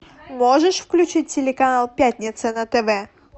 можешь включить телеканал пятница на тв